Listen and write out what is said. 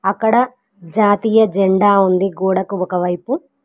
అక్కడ జాతీయ జెండా ఉంది గోడకు ఒక వైపు.